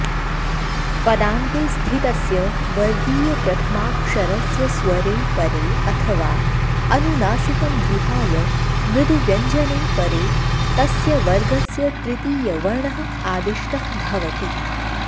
पदान्ते स्थितस्य वर्गीयप्रथमाक्षरस्य स्वरे परे अथवा अनुनासिकं विहाय मृदुव्यञ्जने परे तस्य वर्गस्य तृतीयवर्णः आदिष्टः भवति